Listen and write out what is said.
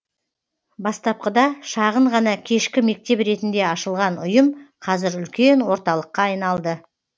бастапқыда шағын ғана кешкі мектеп ретінде ашылған ұйым қазір үлкен орталыққа айналды